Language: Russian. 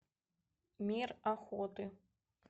мир охоты